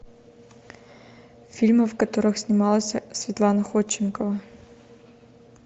фильмы в которых снималась светлана ходченкова